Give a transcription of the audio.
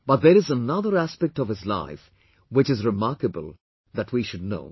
But, there is another aspect of his life which is remarkable that we should know